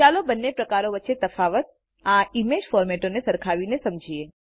ચાલો બંને પ્રકારો વચ્ચેનો તફાવત આ ઈમેજ ફોરમેટોને સરખાવીને સમજીએ